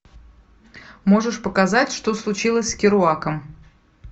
можешь показать что случилось с керуаком